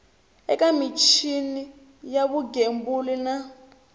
eka michini ya vugembuli na